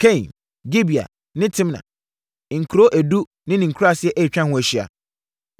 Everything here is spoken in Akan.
Kain, Gibea ne Timna, nkuro edu ne ne nkuraaseɛ a atwa ho ahyia.